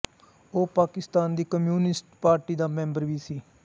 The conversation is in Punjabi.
ਉਹ ਪਾਕਿਸਤਾਨ ਦੀ ਕਮਿਊਨਿਸਟ ਪਾਰਟੀ ਦਾ ਮੈਂਬਰ ਵੀ ਸੀ